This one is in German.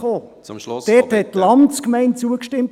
Dort stimmte die Landsgemeinde zu.